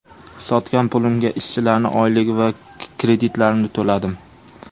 Sotgan pulimga ishchilarning oyligi va kreditlarimni to‘ladim.